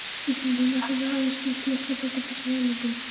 Íslendingar hefðu aðeins nýtt lítið brot af þessum auðlindum.